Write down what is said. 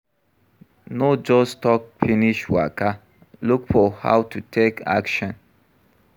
No just talk finish waka, look for how to take action